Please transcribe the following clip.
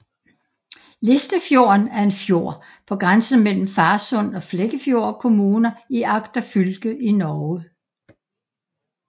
Listafjorden er en fjord på grænsen mellem Farsund og Flekkefjord kommuner i Agder fylke i Norge